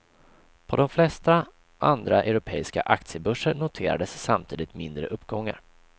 På de flesta andra europeiska aktiebörser noterades samtidigt mindre uppgångar.